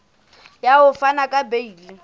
ya ho fana ka beile